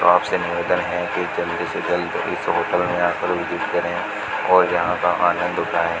आपसे निवेदन है कि जल्दी से जल्दी इस होटल में आकर विजिट करें और यहां का आनंद उठाएं।